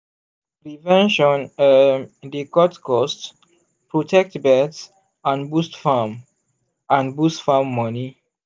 prevention um dey cut cost protect birds and boost farm and boost farm money.